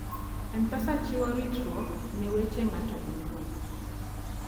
M-Pesa chiwo ritruok ne weche ng'ato owuon.